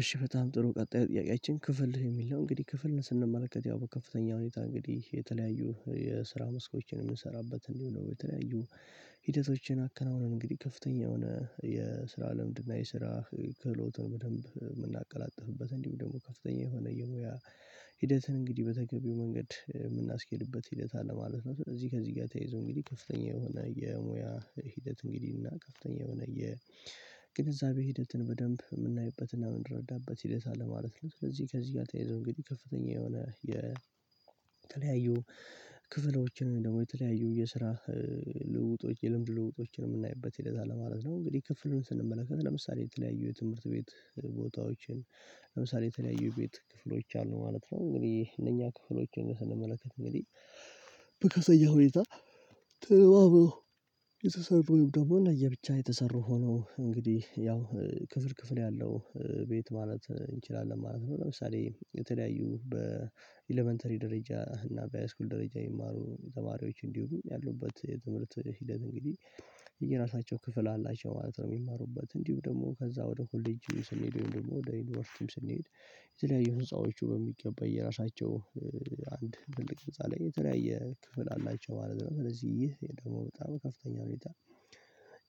እሺ በጣም ጥሩ ቀጣይ ጥያቄያችን ክፍል የሚል ነው። እንግዲህ ክፍል ስንመለከት ያው ከፍተኛ ሁኔታ እንግዲህ የተለያዩ የስራ መስኮችን የምንሰራበት እንዲሁም ደሞ የተለያዩ ሂደቶችን አከናውነን እንግዲህ ከፍተኛ የሆነ የስራ ልምድና የስራ ክህሎትን በደንብ ምናቀላጥፍበት እንዲሁም ደግሞ ከፍተኛ የሆነ የሙያ ሂደትን እንግዲህ በተገቢው መንገድ የምናስኬድበት ሂደት አለ ማለት ነው። እዚህ ከዚህ ጋር ተያይዞ እንግዲህ ከፍተኛ የሆነ የሙያ ሂደት እንግዲህ እና ከፍተኛ የሆነ የግንዛቤ ሂደትን በደንብ ምናይበትና ምንረዳበት ሂደት አለ ማለት ነው። ስለዚህ ከዚህ ጋር ተያይዘው እንግዲህ ከፍተኛ የሆነ የተለያዩ ክፍሎችን ደግሞ የተለያዩ የስራ ልውጦች የልምድ ልውጦችን የምናይበት ሂደት አለ ማለት ነው። እንግዲህ ክፍሉን ስንመለከት ለምሳሌ የተለያዩ የትምህርት ቤት ቦታዎችን ለምሳሌ የተለያዩ ቤት ክፍሎች አሉ ማለት ነው። እንግዲህ እነኛ ክፍሎችን ስንመለከት እንግዲህ በከፍተኛ ሁኔታ ተልባብሎ የተሰሩ ወይም ደግሞ ለየብቻ የተሰሩ ሆኖ እንግዲህ ያው ክፍል ክፍል ያለው ቤት ማለት እንችላለን ማለት ነው። ለምሳሌ የተለያዩ በኤለመንተሪ ደረጃ እና በሃይስኩል ደረጃ የሚማሩ ተማሪዎች እንዲሁም ያሉበት የትምህርት ሂደት እንግዲህ የየራሳቸው ክፍል አላቸው ማለት ነው። ሚማሩበት እንዲሁ ደግሞ ከዛ ወደ ኮሌጅ ስንሄድ ወይም ደግሞ ወደ ዩኒቨርሲቲም ስንሄድ የተለያዩ ህንጻዎች በሚገባ የራሳቸው አንድ ትልቅ ህንፃ ላይ የተለያየ ክፍል አላቸው ማለት ነው። ስለዚህ ይሄ ደግሞ በጣም ከፍተኛ ሁኔታ